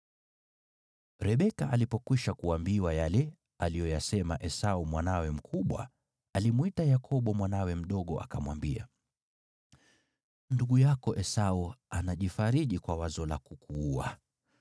Rebeka alipokwisha kuambiwa yale aliyoyasema Esau mwanawe mkubwa, alimwita Yakobo mwanawe mdogo, akamwambia, “Ndugu yako Esau anajifariji kwa wazo la kukuua.